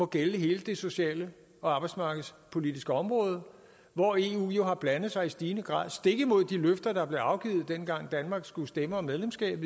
gælder hele det sociale og arbejdsmarkedspolitiske område hvor eu jo har blandet sig i stigende grad stik imod de løfter der blev afgivet dengang danmark skulle stemme om medlemskabet